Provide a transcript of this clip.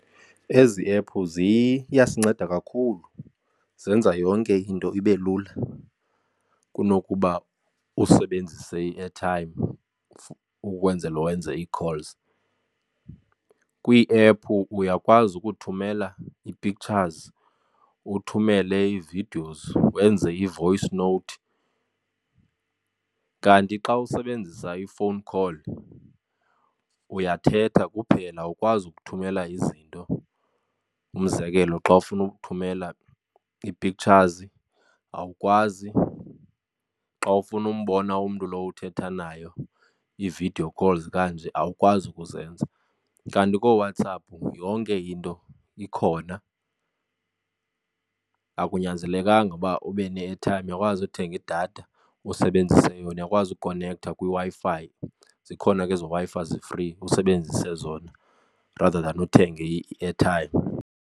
Ezi ephu ziyasinceda kakhulu, zenza yonke into ibe lula kunokuba usebenzise i-airtime ukwenzela wenze ii-calls. Kwii-ephu uyakwazi ukuthumela ii-pictures, uthumele ii-videos, wenze i-voice note. Kanti xa usebenzisa i-phone call uyathetha kuphela awukwazi ukuthumela izinto. Umzekelo, xa ufuna uthumela ii-pictures awukwazi, xa ufuna umbona umntu lo uthetha nayo ii-video calls kanje awukwazi ukuzenza. Kanti kooWhatsApp yonke into ikhona akunyanzelekanga ukuba ube ne-airtime uyakwazi uthenga idatha usebenzise yona uyakwazi ukukonektha kwiWi-Fi zikhona ke ezo Wi-Fi zi-free usebenzise zona rather than uthenge i-airtime.